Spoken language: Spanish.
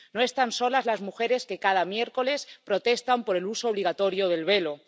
No están solas las mujeres que cada miércoles protestan por el uso obligatorio del velo.